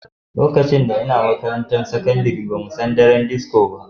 Lokacin da n'na makarantan sakandare ba mu san me daren disko ba.